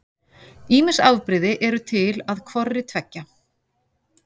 Ýmis afbrigði eru til að hvorri tveggja.